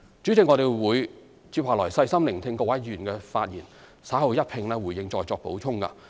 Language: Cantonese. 主席，我將細心聆聽各位議員的發言，稍後一併回應和再作補充。